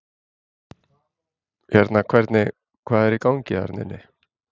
Hérna hvernig, hvað er í gangi þarna inni?